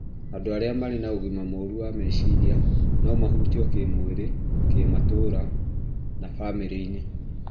Andũ arĩa marĩ na ũgima mũru wa meciria no mahutio kĩĩmwĩrĩ, kĩmatũũra na bamĩrĩ-inĩ.